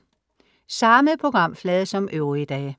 Samme programflade som øvrige dage